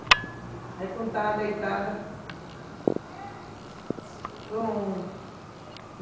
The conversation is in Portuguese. Aí quando eu estava deitada... Pronto...